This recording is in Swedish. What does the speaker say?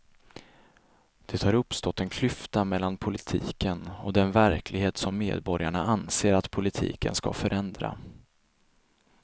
Det har uppstått en klyfta mellan politiken och den verklighet som medborgarna anser att politiken ska förändra.